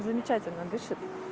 замечательно дышит